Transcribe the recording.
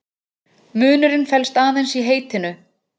Munurinn felst aðeins í heitinu.